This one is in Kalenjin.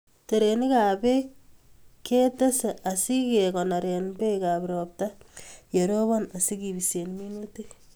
Terenikab Bek ketes asikekonore Bekap ropta yerobon asikebise minutik